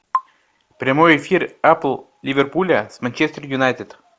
прямой эфир апл ливерпуля с манчестер юнайтед